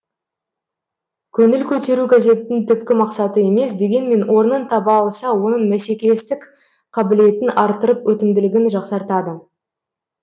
көңіл көтеру газеттің түпкі мақсаты емес дегенмен орнын таба алса оның мәсекелестік қабілетін арттырып өтімділігін жақсартады